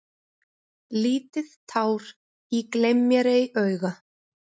Lítið tár í gleym-mér-ei-auga.